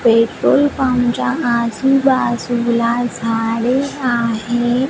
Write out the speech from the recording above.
Petrol पंपच्या आजुबाजूला झाडे आहेत.